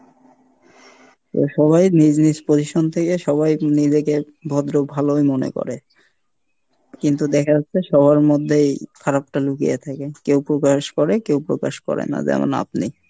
তো সবাই নিজ নিজ position থেকে সবাই নিজেকে ভদ্র ভালোই মনে করে, কিন্তু দেখা যাচ্ছে সবার মধ্যেই খারাপ টা লুকিয়ে থাকে, কেউ প্রকাশ করে কেউ প্রকাশ করে না, যেমন আপনি।